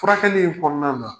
Furakɛli in kɔnɔna na